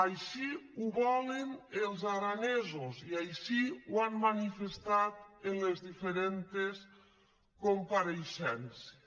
així ho volen els aranesos i així ho han manifestat en les dife·rents compareixences